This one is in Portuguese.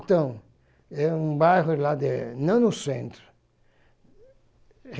Então, é um bairro lá de... Não no centro.